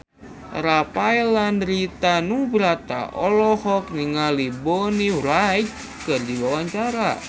Rafael Landry Tanubrata olohok ningali Bonnie Wright keur diwawancara